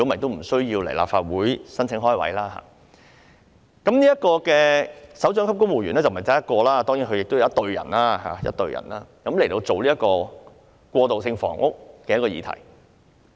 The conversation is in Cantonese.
當然，這不單涉及一個首長級公務員職位，其轄下是有一隊人員，職責是處理過渡性房屋這議題。